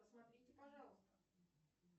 посмотрите пожалуйста